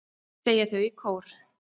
segja þau í kór.